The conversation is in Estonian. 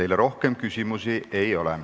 Teile rohkem küsimusi ei ole.